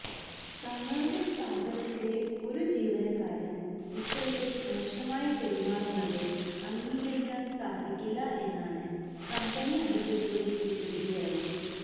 തങ്ങളുടെ സ്ഥാപനത്തിലെ ഒരു ജീവനക്കാരന് ഇത്തരത്തില് മോശമായി പെരുമാറുന്നത് അംഗീകരിക്കാന് സാധിക്കില്ല എന്നാണ് കമ്പനി അധികൃതരുടെ വിശദീകരണം